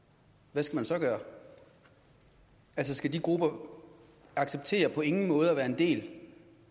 hvad skal man så gøre skal de grupper acceptere på ingen måde at være en del